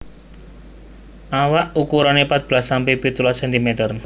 Awak ukurane patbelas sampe pitulas sentimeter